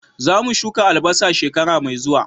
Za mu shuka albasa shekara mai zuwa